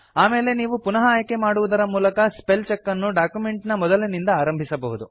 ಆಮೇಲೆ ನೀವು ಪುನಃ ಆಯ್ಕೆ ಮಾಡುವುದರ ಮೂಲಕ ಸ್ಪೆಲ್ ಚೆಕ್ ಅನ್ನು ಡಾಕ್ಯುಮೆಂಟ್ ನ ಮೊದಲಿನಿಂದ ಆರಂಭಿಸಬಹುದು